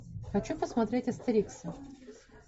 хочу посмотреть астерикс